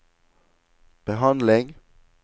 behandling